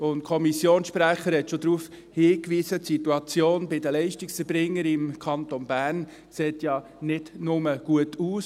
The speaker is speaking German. Der Kommissionssprecher hat schon darauf hingewiesen, dass die Situation der Leistungserbringer im Kanton Bern nicht nur gut aussieht.